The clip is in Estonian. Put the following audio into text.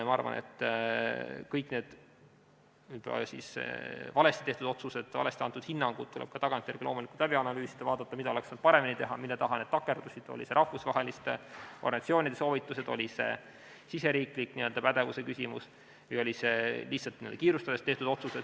Ma arvan, et kõiki neid võib-olla valesti tehtud otsuseid, valesti antud hinnanguid tuleb tagantjärele loomulikult analüüsida, vaadata, mida oleks saanud paremini teha, mille taha need takerdusid, olid need rahvusvaheliste organisatsioonide soovitused, oli see riigisisese pädevuse küsimus või oli see lihtsalt kiirustamine.